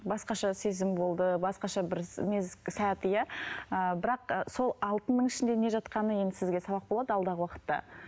басқаша сезім болды басқаша бір сәт иә ыыы бірақ ы сол алтынның ішінде не жатқаны енді сізге сабақ болады алдағы уақытта